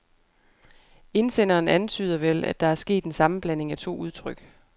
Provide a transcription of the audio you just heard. Indsenderen antyder vel, at der er sket en sammenblanding af to udtryk.